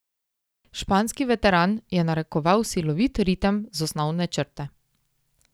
Španski veteran je narekoval silovit ritem z osnovne črte.